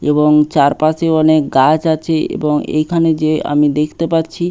এবং চারপাশে অনেক গাছ আছে এবং এখানে যে আমি দেখতে পাচ্ছি--